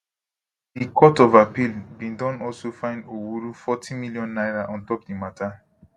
di court of appeal bin don also fine owuru forty million naira on top di mata